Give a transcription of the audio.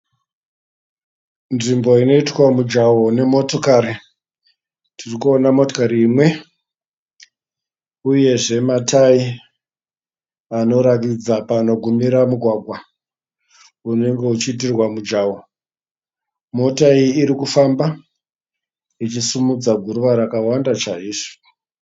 Nzvimbo inoitwa mujawa nemotokari. tirikuona motokari imwe uyezve matayi anoratidza panogumira mugwagwa unenge uchiitirwa mujawa. mota iyi irikufamba ichisimudza ghuruva rakawanda chaizvo.